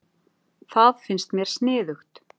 Það finnst mér sniðugt.